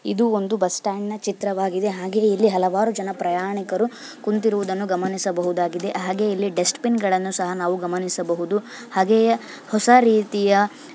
ಇದು ಒಂದು bus stand ನ ಚಿತ್ರವಾಗಿದೆ ಹಾಗೆ ಇಲ್ಲಿ ಹಲವಾರು ಜನ ಪ್ರಯಾಣಿಕರು ಕುಂತಿರುವುದನ್ನು ಗಮನಿಸಬಹುದಾಗಿದೆ ಹಾಗೆ ಇಲ್ಲಿ ನಾವು ಡಸ್ಟ್ ಬಿನ್ ಗಳನ್ನು ಸಹ ಗಮನಿಸಬಹುದು ಹಾಗೆಯೇ ಹೊಸ ರೀತಿಯ --